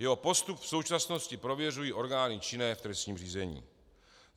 Jeho postup v současnosti prověřují orgány činné v trestním řízení.